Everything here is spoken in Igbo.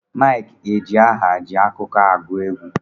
Mike ejiaha ji akụkọ agu egwu.